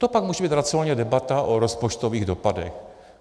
To pak může být racionální debata o rozpočtových dopadech.